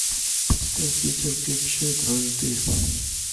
поставь ветер крепчает аш дэ